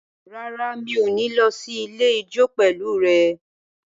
Rárá, mi ò ní lọ sí ilé ijó pẹ̀lú rẹ